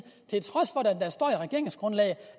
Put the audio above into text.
regeringsgrundlaget